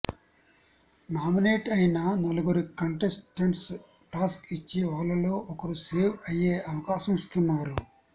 nominate అయిన నలుగురు కంటెస్టెంట్స్కి టాస్క్ ఇచ్చి వాళ్లలో ఒకరు సేవ్ అయ్యే అవకాశం ఇస్తున్నారు